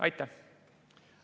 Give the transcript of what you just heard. Aitäh!